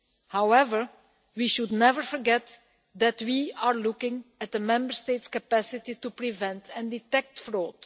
However, we should never forget that we are looking at the Member States' capacity to prevent and detect fraud.